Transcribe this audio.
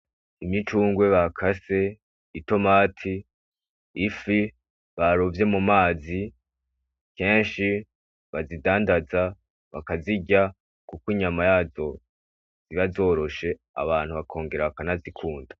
Imicungwe bakase, itomati ifi barovye mumazi, kenshi bazidandaza bakazirya kuko inyama yazo iba zoroshe abantu bakongera bakanazikunda.